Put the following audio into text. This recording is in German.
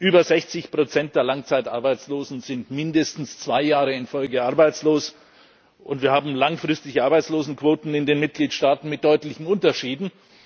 Über 60 der Langzeitarbeitslosen sind mindestens zwei Jahre in Folge arbeitslos, und wir haben langfristige Arbeitslosenquoten in den Mitgliedstaaten mit deutlichen Unterschieden.